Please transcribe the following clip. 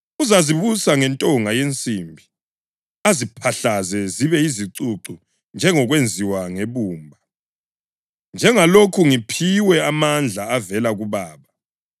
‘Uzazibusa ngentonga yensimbi; aziphahlaze zibe yizicucu njengokwenziwa ngebumba,’ + 2.27 AmaHubo 2.9 njengalokhu ngiphiwe amandla avela kuBaba.